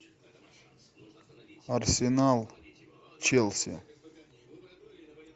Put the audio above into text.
арсенал челси